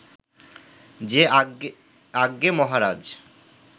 যে আজ্ঞে মহারাজ